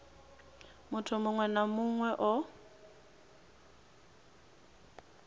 muthu muṅwe na muṅwe o